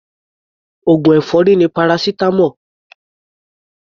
Oògùn èfọ́rí ni paracetamol.